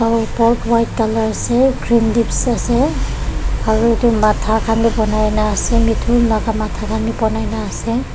aro bulb white colour ase green leaves ase aru edu matha khan bi banai na ase mithun laka matha bi banaina ase.